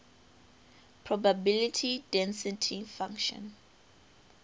probability density function